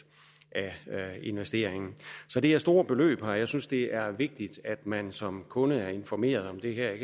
af investeringen så det er store beløb og jeg synes det er vigtigt at man som kunde er informeret om dette jeg